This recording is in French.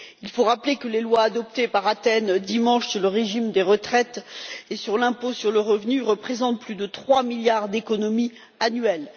Il faut rappeler que les lois adoptées par Athènes, dimanche, sur le régime des retraites et sur l'impôt sur le revenu représentent plus de trois milliards d'économie annuelle.